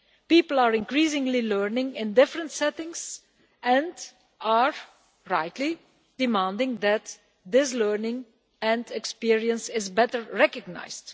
People are increasingly learning in different settings and are rightly demanding that this learning and experience is better recognised.